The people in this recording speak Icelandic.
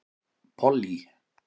Pollý